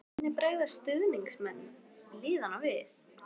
Og hvernig bregðast stuðningsmenn liðanna við?